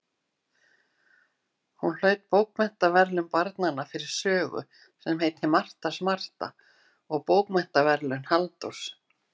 Hún hlaut Bókaverðlaun barnanna fyrir sögu sem heitir Marta smarta og Bókmenntaverðlaun Halldórs